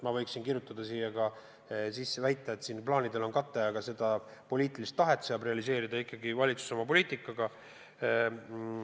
Ma võiksin siia sisse kirjutada väite, et plaanidel on kate, aga riigi poliitilist tahet saab realiseerida ikkagi valitsus oma poliitikaga.